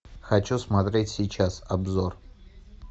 хочу смотреть сейчас обзор